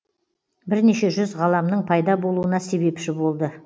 бірнеше жүз ғаламның пайда болуына себепші болды